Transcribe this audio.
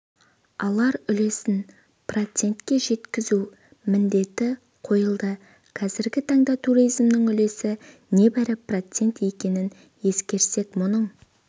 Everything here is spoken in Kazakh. алар үлесін процентке жеткізу міндеті қойылды қазіргі таңда туризмнің үлесі небәрі процент екенін ескерсек мұның